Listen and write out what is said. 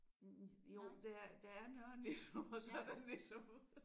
Jo der er der er Nørre Nissum og så er der Nissum